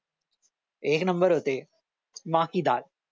एक नंबर होते मां की डाल